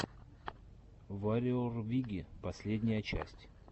варриор виги последняя часть